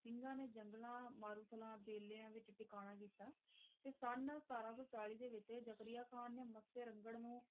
ਸਿੰਘਾਂ ਨੇ ਜੰਗਲਾਂ, ਮਾਰੂਥਲਾਂ, ਬੇਲਿਆਂ ਵਿਚ ਟਿਕਾਣਾ ਕੀਤਾ ਤੇ ਸੰਨ ਸਤਾਰਾਂ ਸੌ ਚਾਲੀ ਦੇ ਵਿਚ ਜ਼ਕਰੀਆ ਖਾਨ ਨੇ ਮੱਸੇ ਰੰਘੜ ਨੂੰ,